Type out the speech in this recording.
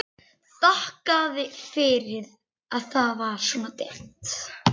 Þakkaði fyrir að það var svona dimmt.